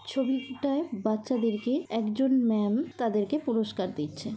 '' ছবিটায় বাচ্চাদের কে একজন ম্যাম তাদেরকে পুরস্কার দিচ্ছে।''